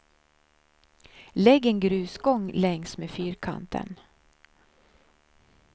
Lägg en grusgång längs med fyrkanten.